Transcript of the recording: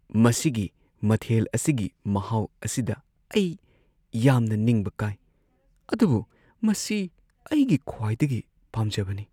ꯃꯁꯤꯒꯤ ꯃꯊꯦꯜ ꯑꯁꯤꯒꯤ ꯃꯍꯥꯎ ꯑꯁꯤꯗ ꯑꯩ ꯌꯥꯝꯅ ꯅꯤꯡꯕ ꯀꯥꯏ ꯑꯗꯨꯕꯨ ꯃꯁꯤ ꯑꯩꯒꯤ ꯈ꯭ꯋꯥꯏꯗꯒꯤ ꯄꯥꯝꯖꯕꯅꯤ꯫